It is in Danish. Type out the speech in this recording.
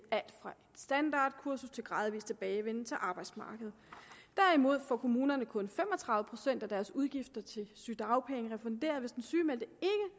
standardkursus til gradvis tilbagevenden til arbejdsmarkedet derimod får kommunerne kun fem og tredive procent af deres udgifter til sygedagpenge refunderet hvis den sygemeldte